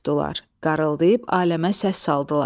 Qarğıldayıb aləmə səs saldılar.